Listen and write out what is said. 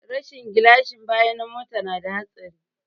Rashin gilashin baya na mota na da hatsari